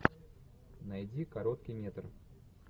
найди короткий метр